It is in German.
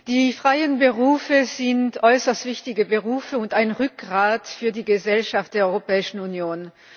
Die freien Berufe sind äußerst wichtige Berufe und ein Rückgrat für die Gesellschaft der Europäischen Union.